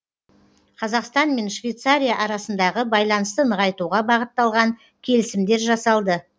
қазақстан мен швейцария арасындағы байланысты нығайтуға бағытталған келісімдер жасалды